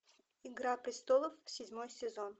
игра престолов седьмой сезон